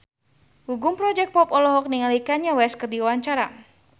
Gugum Project Pop olohok ningali Kanye West keur diwawancara